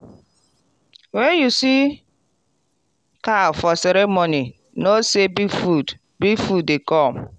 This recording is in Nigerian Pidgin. when you see cow for ceremony know say big food big food dey come.